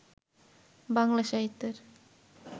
বাংলা সাহিত্যের